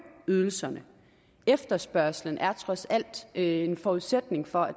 ydelserne efterspørgslen er trods alt en forudsætning for at